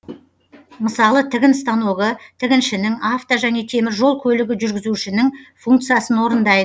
мысалы тігін станогы тігіншінің авто және темір жол көлігі жүргізушінің функциясын орындайды